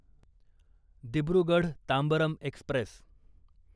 Dibrugarh Tambaram Express